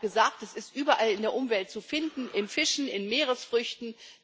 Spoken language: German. Es wurde auch gesagt, es ist überall in der Umwelt zu finden, in Fischen, in Meeresfrüchten.